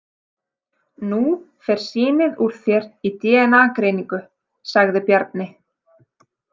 Nú fer sýnið úr þér í dna- greiningu, sagði Bjarni.